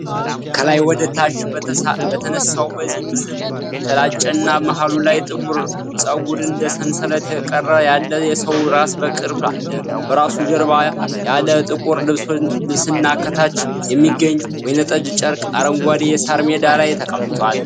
ከላይ ወደ ታች በተነሳው በዚህ ምሥል የተላጨና መሀሉ ላይ ጥቁር ፀጉር እንደ ሰንሰለት የቀረ ያለ የሰው ራስ በቅርብ አለ። በራሱ ጀርባ ያለ ጥቁር ልብስና ከታች የሚገኝ ወይንጠጅ ጨርቅ አረንጓዴ የሣር ሜዳ ላይ ተቀምጧል።